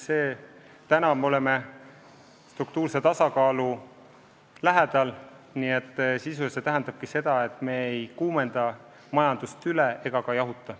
Praegu me oleme struktuurse tasakaalu lähedal, mis sisuliselt tähendab seda, et me ei kuumenda majandust üle ega ka jahuta.